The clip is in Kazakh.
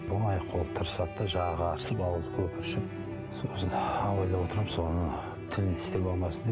оның яқ қолы тырысады да жағы қарысып ауызы көпіршіп сосын ойлап отырамын сол ана тілін тістеп алмасын деп